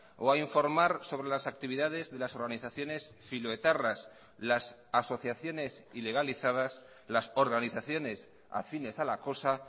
o a informar sobre las actividades de las organizaciones filoetarras las asociaciones ilegalizadas las organizaciones afines a la cosa